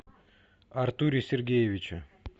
артуре сергеевиче